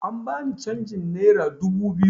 An bani canjin nera dubu biyu